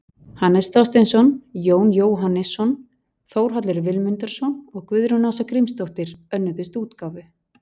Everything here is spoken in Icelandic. Hannes Þorsteinsson, Jón Jóhannesson, Þórhallur Vilmundarson og Guðrún Ása Grímsdóttir önnuðust útgáfu.